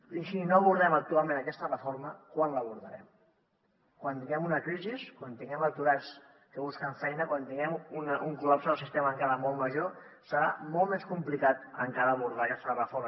si no abordem actualment aquesta reforma quan l’abordarem quan tinguem una crisi quan tinguem aturats que busquen feina quan tinguem un col·lapse del sistema encara molt major serà molt més complicat encara abordar aquesta reforma